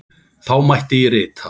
Þá mætti rita